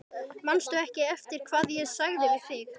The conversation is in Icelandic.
Karen Kjartansdóttir: Höfum við efni á þessu?